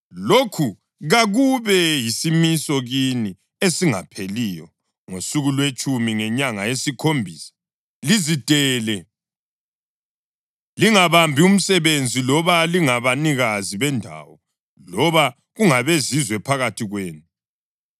Lokhu kakube yisimiso kini esingapheliyo: Ngosuku lwetshumi ngenyanga yesikhombisa, lizidele, lingabambi umsebenzi, loba lingabanikazi bendawo loba kungabezizwe phakathi kwenu,